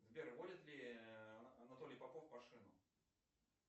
сбер водит ли анатолий попов машину